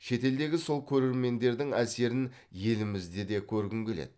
шетелдегі сол көрермендердің әсерін елімізде де көргім келеді